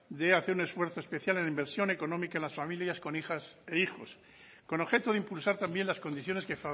de hacer un esfuerzo especial en la inversión económica en las familias con hijas e hijos con objeto de impulsar también las condiciones que